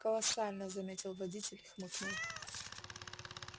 колоссально заметил водитель и хмыкнул